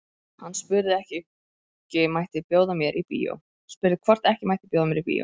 Hann spurði hvort ekki mætti bjóða mér í bíó.